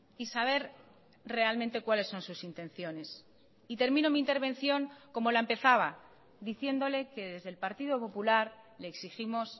y saber realmente cuáles son sus intenciones y termino mi intervención como la empezaba diciéndole que desde el partido popular le exigimos